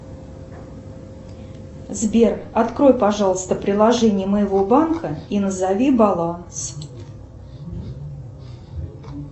сбер открой пожалуйста приложение моего банка и назови баланс